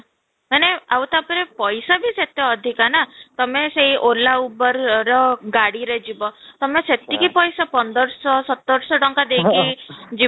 ମାନେ ଆଉ ତା'ପରେ ପଇସା ବି ସେତେ ଅଧିକା ନା ତୋମେ ସେଇ ola uber ର ଗାଡିରେ ଯିବ ତୋମେ ସେତିକି ପଇସା ପନ୍ଦର ସହ ସତର ସହ ତାଙ୍କ ଦେଇ କି ଯିବ